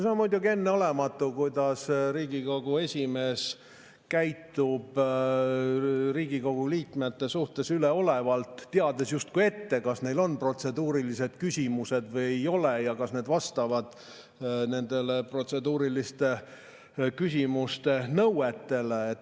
See on muidugi enneolematu, kui üleolevalt Riigikogu esimees käitub Riigikogu liikmete suhtes, teades justkui ette, kas neil on protseduurilised küsimused või ei ole, kas need vastavad protseduuriliste küsimuste nõuetele.